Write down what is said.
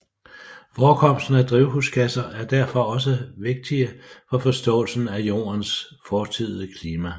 Forekomsten af drivhusgasser er derfor også vigtige for forståelsen af Jordens fortidige klima